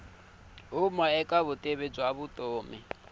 huma eka vutivi bya vutomi